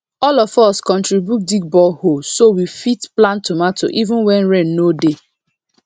all of us contribute dig borehole so we fit plant tomato even when rain no dey